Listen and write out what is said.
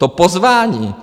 To pozvání!